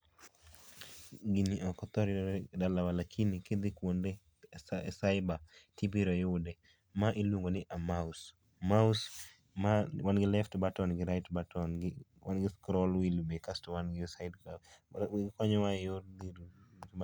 Gini ok ohor yudore e dalawa lakini kidhi kuonde e cyber tibiro yude. Ma iluongo ni a [ccs]mouse, mouse manigi left button gi right button gi wan gi scroll wheel be kasto be wan gi side cuff. Okonyowa e yor